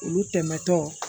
Olu tɛmɛtɔ